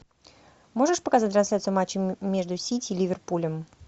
можешь показать трансляцию матча между сити и ливерпулем